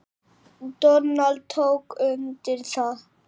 Donald tók undir það.